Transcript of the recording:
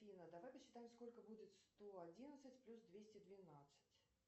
афина давай посчитаем сколько будет сто одиннадцать плюс двести двенадцать